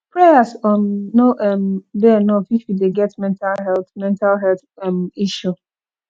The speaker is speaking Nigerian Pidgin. prayers um no um dey enough if you dey get mental health mental health um issue